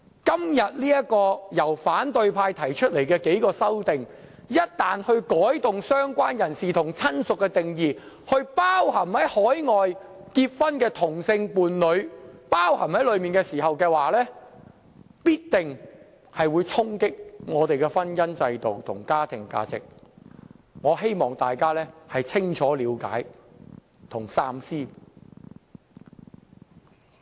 今天由反對派提出的數項修正案，將"相關人士"和"親屬"的定義擴展至涵蓋海外結婚的同性伴侶，一旦獲得通過的話，必定會衝擊我們的婚姻制度和家庭價值，我希望大家清楚了解和三思。